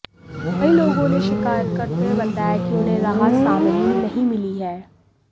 कई लोगों ने शिकायत करते हुए बताया कि उन्हें राहत सामग्री नहीं मिली है